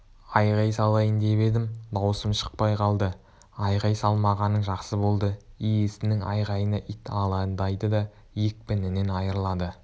айғай салайын деп едім даусым шықпай қалды айғай салмағаның жақсы болды иесінің айғайына ит алаңдайды да екпінінен айрылады